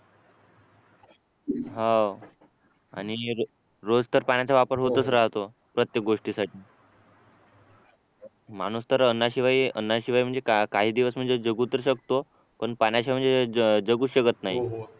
हाव आणि रोज तर पाण्याचा वापर होतच राहतो प्रत्येक गोष्टीसाठी माणूस तर अन्नाशिवाय अन्नाशिवाय म्हणजे काही दिवस म्हणजे जगू तर शकतो पण पाण्याशिवाय म्हणजे जगू शकत नाही